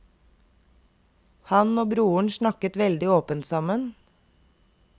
Han og broren snakket veldig åpent sammen.